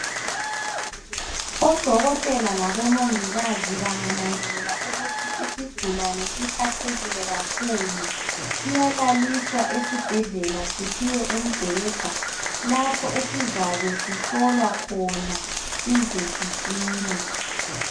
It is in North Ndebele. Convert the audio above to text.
Odokotela labo mongikazi bengananzelela ukuthi isigulane siphathekile kakhulu siyalaliswa esibhedlela siphiwe umbheda lapho esizabe sihlolea khona size sisile.